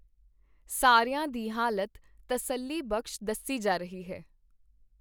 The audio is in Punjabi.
ਸਾਰਿਆਂ ਦੀ ਹਾਲਤ ਤਸੱਲੀਬਖ਼ਸ਼ ਦੱਸੀ ਜਾ ਰਹੀ ਹੈ।